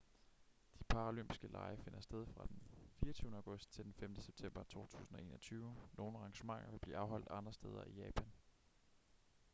de paralympiske lege finder sted fra den 24. august til den 5. september 2021. nogle arrangementer vil blive afholdt andre steder i japan